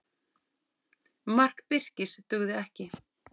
Mark Birkis dugði ekki